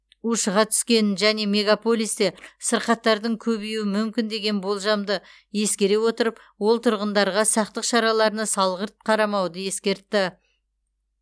ушыға түскенін және мегаполистер сырқаттардың көбеюі мүмкін деген болжамды ескере отырып ол тұрғындарға сақтық шараларына салғырт қарамауды ескертті